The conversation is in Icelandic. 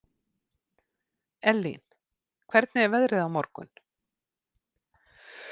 Ellín, hvernig er veðrið á morgun?